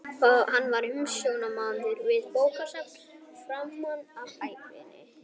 Hann var umsjónarmaður við bókasafn framan af ævinni.